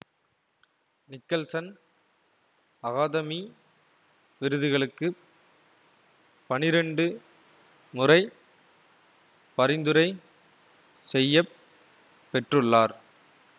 Nicholson academy விருதுகளுக்கு பனிரண்டு முறை பரிந்துரை செய்ய பெற்றுள்ளார்